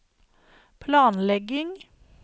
planlegging